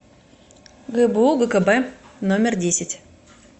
гбу гкб номер десять